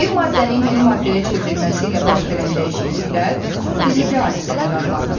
Bir maddənin yeni maddəyə çevrilməsi ilə baş verən dəyişikliklər fiziki hadisələr adlanır.